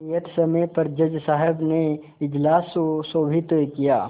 नियत समय पर जज साहब ने इजलास सुशोभित किया